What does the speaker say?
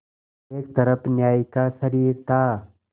एक तरफ न्याय का शरीर था